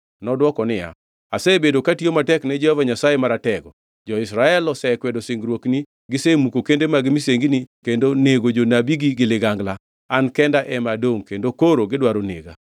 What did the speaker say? Nodwoko niya, “Asebedo katiyo matek ni Jehova Nyasaye Maratego. Jo-Israel osekwedo singruokni, gisemuko kende mag misengini kendo nego jonabigi gi ligangla. An kenda ema adongʼ kendo koro gidwaro nega.”